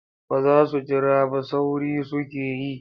Ba za su jira ba sauri suke yi.